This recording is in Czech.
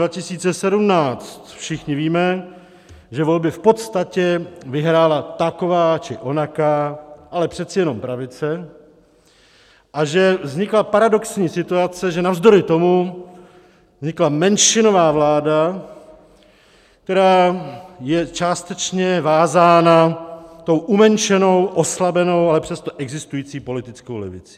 Všichni víme, že volby v podstatě vyhrála taková či onaká, ale přece jenom pravice a že vznikla paradoxní situace, že navzdory tomu vznikla menšinová vláda, která je částečně vázána tou umenšenou, oslabenou, ale přesto existující politickou levicí.